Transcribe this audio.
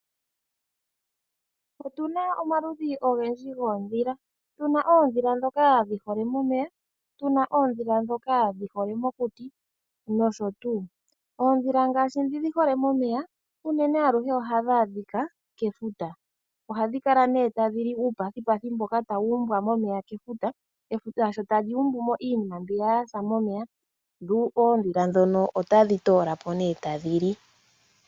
Otuna omaludhi ogendji goondhila, tuna oondhila ndhoka dhihole momeya, tuna oondhila ndhoka dhihole mokuti, nosho tuu. oondhila ngaashi ndhi dhi hole momeya unene aluhe oha dhi adhika kefuta, ohadhi kala nee tadhi li uupethipethi mboka wa umbwa momeya kefuta , efuta sho ta li umbu mo iinima mbyoka yasa momeya dho oondhila dhono otadhi toola po nee tadhi li.